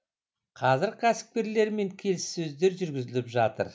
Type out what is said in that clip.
қазір кәсіпкерлермен келіссөздер жүргізіліп жатыр